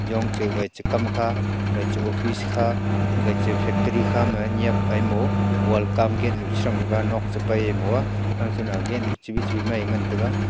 yong chu wai che kam kha aga chu office kha aga chu factory kha ma nyap ai mo well come gate nyu te chang taiga nok che pai moa gate nu chebi chebi mai ngan taiga.